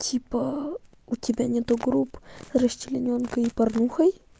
типа у тебя нет групп расчленёнкой и порнухой